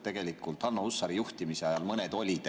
Tegelikult Lauri Hussari juhtimise ajal mõned olid.